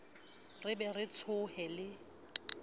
re be re tsohe le